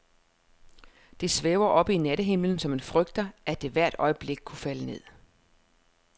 Det svæver oppe i nattehimlen, så man frygter, at det hvert øjeblik kunne falde ned.